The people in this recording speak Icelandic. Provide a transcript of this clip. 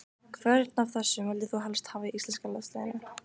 Hvern af þessum vildir þú helst hafa í íslenska landsliðinu?